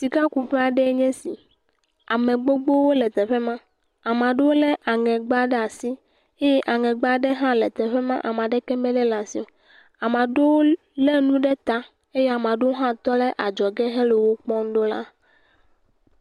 Sikakuƒe aɖee nye esi, ame gbogbowo e teƒe ma ame aɖewo lé aŋegba ɖe asi eye aŋegba aɖe le teƒe ma ame aɖeke melé ɖe asi o, ame aɖewo lé nu ɖe ta eye ame aɖewo hã tɔ ɖe adzɔge hele wo kpɔm ɖaa.